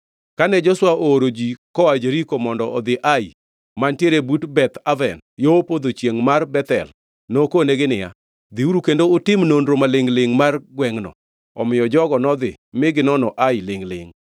Kane Joshua ooro ji koa Jeriko mondo odhi Ai, mantiere but Beth Aven yo podho chiengʼ mar Bethel nokonegi niya, “Dhiuru kendo utim nonro ma lingʼ-lingʼ mar gwengʼno.” Omiyo jogo nodhi mi ginono Ai lingʼ-lingʼ.